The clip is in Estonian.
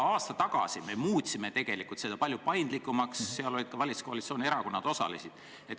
Aasta tagasi me muutsime tegelikult seda palju paindlikumaks, selles osalesid ka valitsuskoalitsiooni erakonnad.